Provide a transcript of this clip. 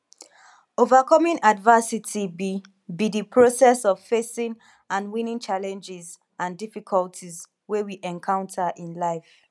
overcoming adversity be be di process of facing and winning challenges and difficulties wey we encounter in life